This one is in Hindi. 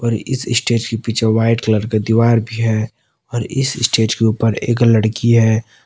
और इस स्टेज के पीछे वाइट कलर की दीवार भी है और इस स्टेज के ऊपर एक लड़की है।